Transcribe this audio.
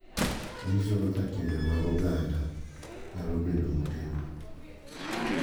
Onyiso kaka timbe mag oganda nyalo bedo motegno